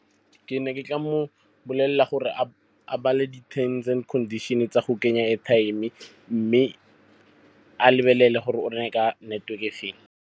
Ke ne ke tla mo bolelela gore a bale di-terms and conditions tsa go kenya airtime mme a lebelele gore o reka ka network-e e feng.